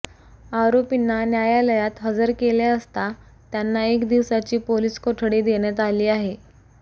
आरोपींना न्यायालयात हजर केले असता त्यांना एक दिवसाची पोलीस कोठडी देण्यात आली आहे